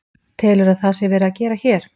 Telurðu að það sé verið að gera hér?